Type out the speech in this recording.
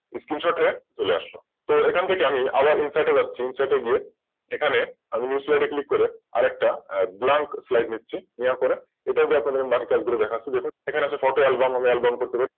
Screenshort হয়ে চলে আসলো তো এখান থেকে আমি আবার Insert এ যাচ্ছি Insert এগিয়ে এখানে আমি New slide এ Click করে আরেকটা Blank slide নিচ্ছি নেওয়ার পরে এটা যখন আমি বাকি কাজগুলো দেখাচ্ছি দেখুন। এখানে আছে Photo album album বসাতে পারি।